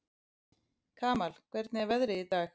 Kamal, hvernig er veðrið í dag?